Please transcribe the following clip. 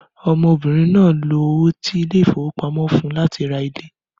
Ọmọbìnrin náà lo owó tí ilé ìfowópamọ́ fún láti ra ilé.